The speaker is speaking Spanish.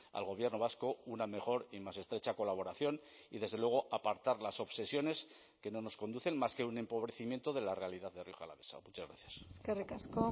al gobierno vasco una mejor y más estrecha colaboración y desde luego apartar las obsesiones que no nos conducen más que un empobrecimiento de la realidad de rioja alavesa muchas gracias eskerrik asko